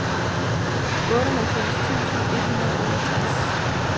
otteoghalvfems tusind et hundrede og otteogtres